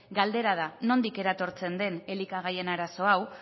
galdera da nondik eratortzen den elikagaien arazo hau